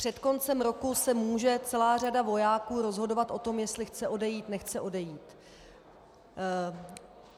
Před koncem roku se může celá řada vojáků rozhodovat o tom, jestli chce odejít, nechce odejít.